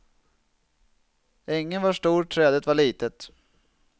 Ängen var stor, trädet var litet.